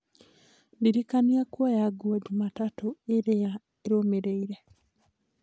ndĩrikania kuoya nguo jumatatũ ĩrĩa ĩrũmĩrĩire